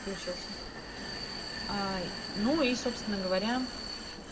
включился а ну и собственно говоря